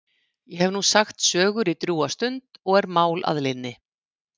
Ég hef nú sagt sögur í drjúga stund og er mál að linni.